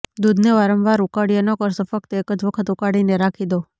દૂધને વારંવાર ઉકાળ્યા ન કરશો ફક્ત એક જ વખત ઉકાળીને રાખી દો